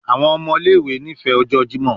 Awọn ọmọ ile-iwe nifẹ ọjọ Jimọ